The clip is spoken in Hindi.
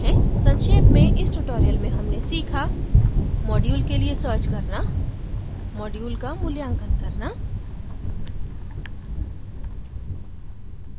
संक्षेप में इस ट्यूटोरियल में हमने सीखा module के लिए सर्च करना module का मूल्यांकन करना